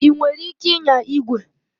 Ị nwere ike ịnya igwe?